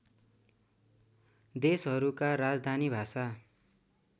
देशहरूका राजधानी भाषा